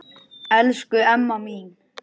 Elsku Emma mín.